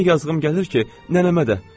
Elə yazığım gəlir ki, nənəmə də.